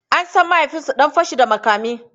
An san mahaifinsu dan fashi da makami.